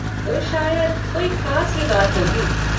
तो शायद कोई ख़ास ही बात होगी।